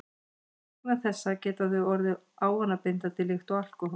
Vegna þessa geta þau orðið ávanabindandi líkt og alkóhól.